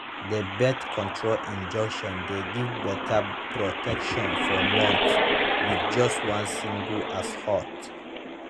that birth control injection de give better protection for months with just one single as hot